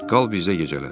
Qal bizdə gecələ.